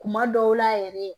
Kuma dɔw la yɛrɛ